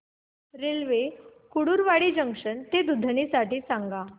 railway Kurduwadi junction ते दुधनी साठी सांगा